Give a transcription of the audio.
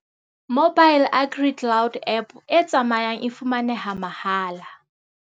Mobile AgriCloud app e tsamayang e fumaneha mahala.